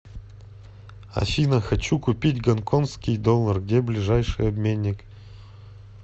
афина хочу купить гонконгский доллар где ближайший обменник